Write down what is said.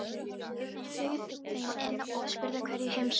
Hann bauð þeim inn og spurði hverju heimsókn þeirra sætti.